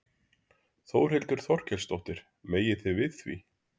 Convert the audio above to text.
Þórhildur Þorkelsdóttir: Megið þið við því?